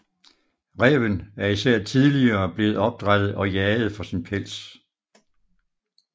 Ræven er især tidligere blevet opdrættet og jaget for sin pels